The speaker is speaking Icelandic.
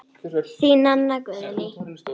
Þín, Nanna Guðný.